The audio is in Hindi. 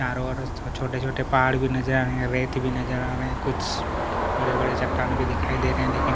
चारो और छोटे-छोटे पहाड़ भी नज़र आ रहे है रेत भी नज़र आ रहे है कुछ बड़े-बड़े चट्टान भी दिखाई दे रहे हैं लेकिन--